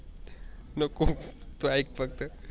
नको तू आईक फक्त.